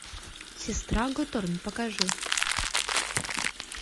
сестра готорн покажи